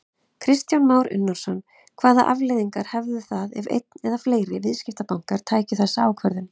Kristján Már Unnarsson: Hvaða afleiðingar hefðu það ef einn eða fleiri viðskiptabankar tækju þessa ákvörðun?